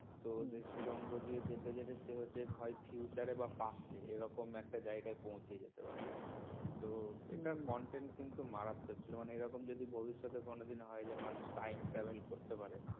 তো সেই সুরঙ্গ দিয়ে যেতে গেলে হয় future বা past সে যে কোন জায়গায় একটা পৌঁছে যেতে পারে। তো এটার content কিন্তু মারাত্মক ছিল এরকম যদি ভবিষ্যতে কোনদিন হয় যে মানুষ time travel করতে পারে